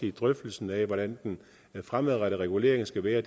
i drøftelsen af hvordan den fremadrettede regulering skal være